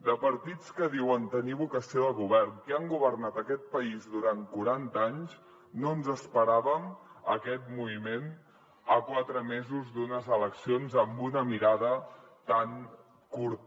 de partits que diuen tenir vocació de govern que han governat aquest país durant quaranta anys no ens esperàvem aquest moviment a quatre mesos d’unes eleccions amb una mirada tan curta